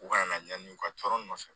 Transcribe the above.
U kana na ɲani u ka tɔɔrɔ nɔfɛ